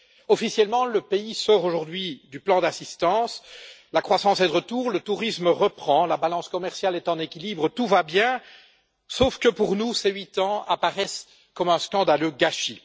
Officiellement, le pays sort aujourd'hui du plan d'assistance, la croissance est de retour, le tourisme reprend, la balance commerciale est en équilibre, tout va bien, sauf que pour nous, ces huit ans apparaissent comme un scandaleux gâchis.